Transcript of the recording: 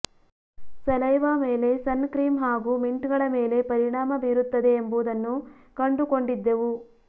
saliva ಮೇಲೆ sun cream ಹಾಗೂ mint ಗಳ ಮೇಲೆ ಪರಿಣಾಮ ಬೀರುತ್ತದೆ ಎಂಬುದನ್ನು ಕಂಡುಕೊಂಡಿದ್ದೆವು